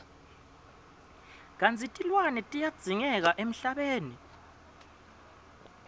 kantsi tilwane tiyadzingeka emhlabeni